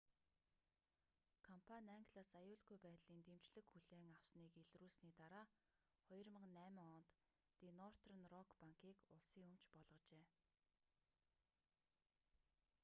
компани англиас аюулгүй байдлын дэмжлэг хүлээн авсаныг илрүүлсэний дараа 2008 онд ди нортерн рок банкийг улсын өмч болгожээ